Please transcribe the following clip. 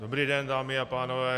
Dobrý den, dámy a pánové.